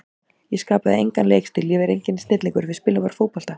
Ég skapaði engan leikstíl, ég er enginn snillingur, við spilum bara fótbolta.